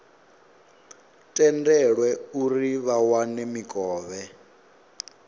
tendelwe uri vha wane mikovhe